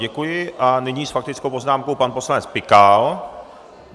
Děkuji a nyní s faktickou poznámkou pan poslanec Pikal.